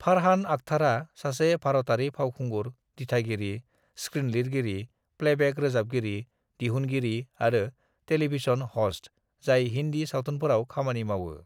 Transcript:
"फरहान आख्तारा सासे भारतारि फावखुंगुर, दिथागिरि, स्कृनलिरगिरि, प्लेबेक रोजाबगिरि, दिहुनगिरि आरो टेलीभिजन हस्ट जाय हिंदी सावथुनफोराव खामानि मावो।"